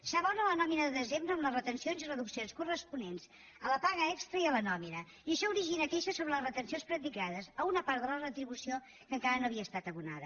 s’abona la nòmina de desembre amb les retencions i reduccions corresponents a la paga extra i a la nòmina i això origina queixes sobre les retencions practicades a una part de la retribució que encara no havia estat abonada